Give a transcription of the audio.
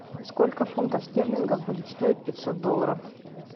сколько фунтов стерлингов будет стоить пятьсот долларов